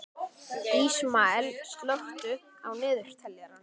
Ísmael, slökktu á niðurteljaranum.